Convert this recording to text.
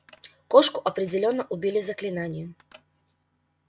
кошку определённо убили заклинанием